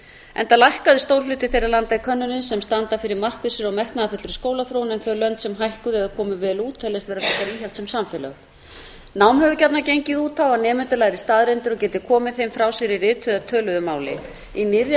enda lækkaði stór hluti þeirra landa í könnuninni sem standa fyrir markvissri og metnaðarfullri skólaþróun en þau lönd sem hækkuðu eða komu vel út teljast vera frekar íhaldssöm samfélög nám hefur gjarnan gengið út á að nemendur læri staðreyndir og geti komið þeim frá sér í rituðu eða töluðu máli í nýrri